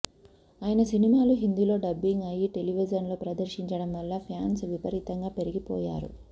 ఆయన సినిమాలు హిందీలో డబ్బింగ్ అయి టెలివిజన్లో ప్రదర్శించడం వల్ల ఫ్యాన్స్ విపరీతంగా పెరిగిపోయారు